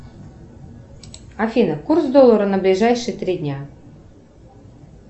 афина курс доллара на ближайшие три дня